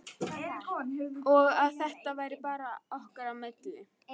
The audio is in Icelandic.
Og að þetta væri bara okkar á milli.